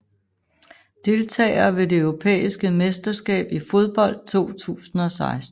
Deltagere ved det europæiske mesterskab i fodbold 2016